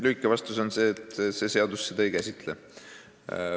Lühike vastus on, et see seadus seda ei käsitle.